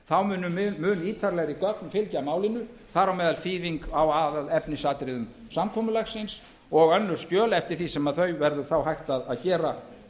þá munu mun ítarlegri gögn fylgja málinu þar á meðal þýðing á aðalefnisatriðum samkomulagsins og önnur skjöl eftir því sem þau verður þá hægt að gera